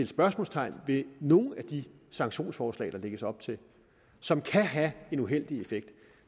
spørgsmålstegn ved nogle af de sanktionsforslag der lægges op til som kan have en uheldig effekt